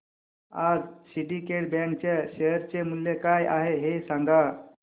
आज Syndicate Bank च्या share चे मूल्य काय आहे हे सांगा